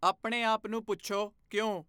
ਆਪਣੇ ਆਪ ਨੂੰ ਪੁੱਛੋ, 'ਕਿਉਂ?